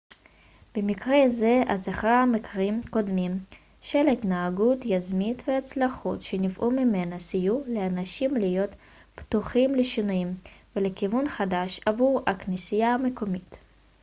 במקרה זה הזכרת מקרים קודמים של התנהגות יזמית והצלחות שנבעו ממנה סייעו לאנשים להיות פתוחים לשינויים ולכיוון חדש עבור הכנסייה המקומית